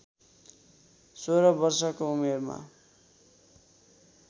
सोह्र वर्षको उमेरमा